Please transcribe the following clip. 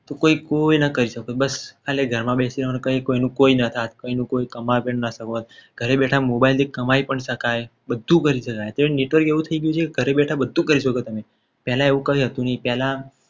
તો પછી કોઈને કંઈ ના શકત બસ આ ઘરમાં બેસી રહેવાનું કંઈ ક્યાંય કોઈનું સાથ કોઈનું કંઈ ઘરે બેઠા mobile થી કમાઈ પણ શકાય બધું બંધ છે. અત્યારે network કેવું થઈ ગયું છે. ઘરે બેઠા બધુ કરી શકો. તમે પહેલા એવું કંઈ હતું. નહીં પહેલા